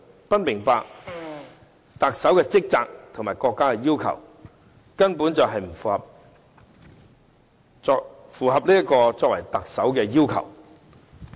不明白特首的職責和國家要求，根本不符合作為特首的要求。